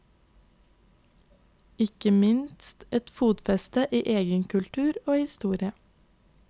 Ikke minst et fotfeste i egen kultur og historie.